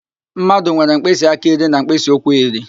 Mmadụ nwere mkpịsị aka iri na mkpịsị ụkwụ iri